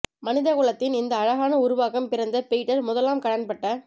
மனித குலத்தின் இந்த அழகான உருவாக்கம் பிறந்த பீட்டர் முதலாம் கடன்பட்ட